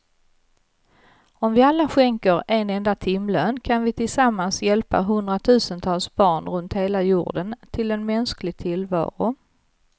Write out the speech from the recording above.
Om vi alla skänker en enda timlön kan vi tillsammans hjälpa hundratusentals barn runt hela jorden till en mänsklig tillvaro.